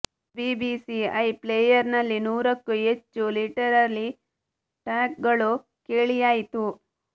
BBC iPlayer ನಲ್ಲಿ ನೂರಕ್ಕೂ ಹೆಚ್ಚು ಲಿಟರಲಿ ಟಾಕ್ ಗಳು ಕೇಳಿಯಾಯಿತು